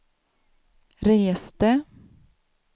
reste